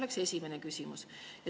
See on esimene küsimus.